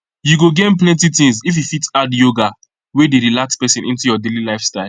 you go gain plenty things if you fit add yoga wey dey relax person into your daily lifestyle